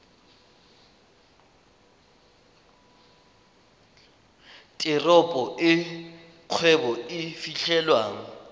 teropo e kgwebo e fitlhelwang